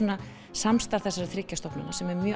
samstarf þessara þriggja stofnana sem er mjög